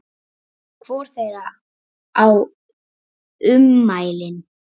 Hvor þeirra á ummælin?